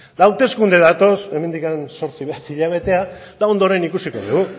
hauteskunde datoz hemendik zortzi bederatzi hilabetera eta ondoren ikusiko dugu